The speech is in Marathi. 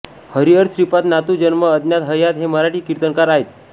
हरिहर श्रीपाद नातू जन्म अज्ञात हयात हे मराठी कीर्तनकार आहेत